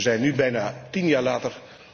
Wij zijn nu bijna tien jaar later.